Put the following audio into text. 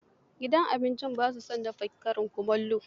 Gidan abincin ba sa dafa karin kumallo